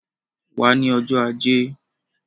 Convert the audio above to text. Wá ní ọjọ́ ajé